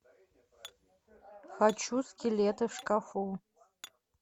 хочу скелеты в шкафу